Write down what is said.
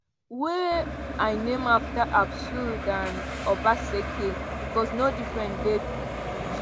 wey i name afta asue and obaseki becos no difference dey d two.